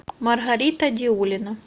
маргарита диулина